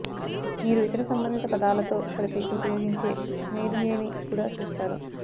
మీరు ఇతర సంబంధిత పదాలతో కలిపి ఉపయోగించే మెయిర్యేని కూడా చూస్తారు